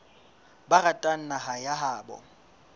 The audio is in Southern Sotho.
ba ratang naha ya habo